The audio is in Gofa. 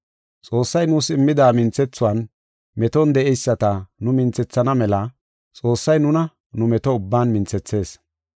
Xoossay nuus immida minthethuwan, meton de7eyisata nu minthethana mela Xoossay nuna nu meto ubban minthethees.